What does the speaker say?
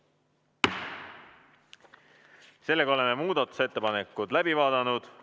Seega oleme muudatusettepanekud läbi vaadanud.